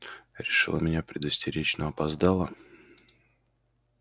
решила меня предостеречь но опоздала